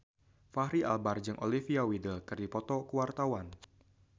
Fachri Albar jeung Olivia Wilde keur dipoto ku wartawan